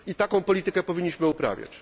I taką politykę powinniśmy uprawiać.